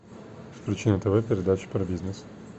включи на тв передачу про бизнес